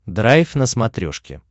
драйв на смотрешке